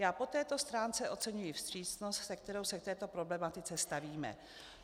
Já po této stránce oceňuji vstřícnost, se kterou se k této problematice stavíme.